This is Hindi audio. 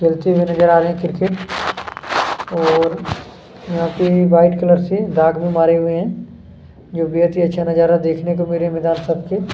खेलते हुए नज़र आ रहे हैं क्रिकेट और यहाँ पे वाइट कलर से मैदान में भी मारे हुए हैं जोकि बेहद ही अच्छा नजारा है देखने को मिल रहे है मैदान सबके--